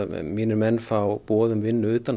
mínir menn fá boð um vinnu utan